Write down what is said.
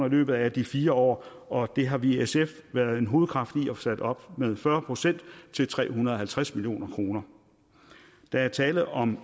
i løbet af de fire år og det har vi i sf været en hovedkraft i få sat op med fyrre procent til tre hundrede og halvtreds million kroner der er tale om